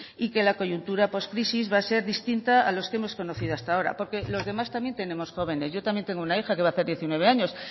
y que la coyuntura pos crisis va a ser distinta a los que hemos conocido hasta ahora porque los demás también tenemos jóvenes yo también tengo una hija que va a hacer diecinueve años